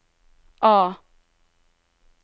A